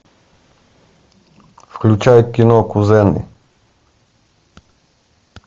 включай кино кузены